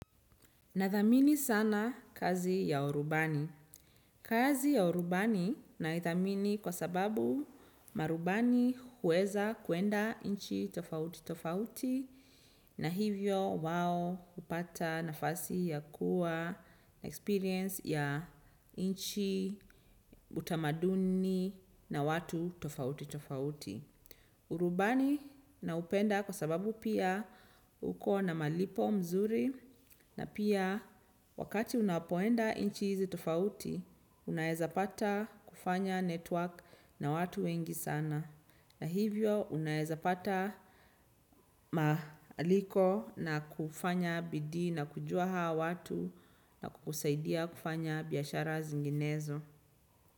Nathamini sana kazi ya urubani. Kazi ya urubani naithamini kwa sababu marubani huweza kuenda nchi tofauti tofauti na hivyo wao hupata nafasi ya kuwa na experience ya nchi utamaduni na watu tofauti tofauti. Urubani naupenda kwa sababu pia uko na malipo mazuri na pia wakati unapoenda nchi hizi tofauti, unaezapata kufanya network na watu wengi sana. Na hivyo unaezapata maaliko na kufanya bidii na kujua hao watu na kukusaidia kufanya biashara zinginezo.